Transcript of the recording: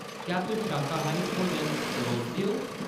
क्या तुस शाकाहारी भोजन परोसदे ओ ?